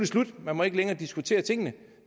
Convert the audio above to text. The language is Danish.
slut man må ikke længere diskutere tingene